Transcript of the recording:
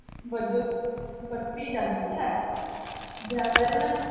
ਵਜੋਂ ਵਰਤੀ ਜਾਂਦੀ ਹੈ, ਵਿਆਕਰਨ